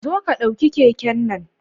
Zo ka ɗauki keken nan.